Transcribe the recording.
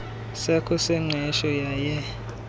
sakho sengqesho yaye